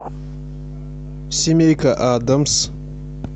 семейка адамс